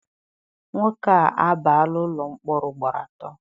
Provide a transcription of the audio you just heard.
Nwoke a abaala ụlọ mkpọrọ ugboro atọ.